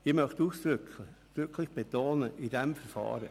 Ich möchte ausdrücklich betonen: «in diesem Verfahren».